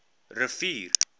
rivier